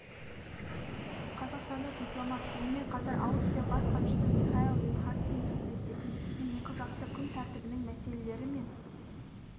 қазақстандық дипломат онымен қатар аустрия бас хатшысы михаэль линхартпен кездесті кездесуде екіжақты күн тәртібінің мәселелері мен